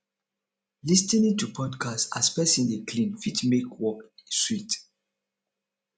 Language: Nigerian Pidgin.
lis ten ing to podcast as person dey clean fit make work sweet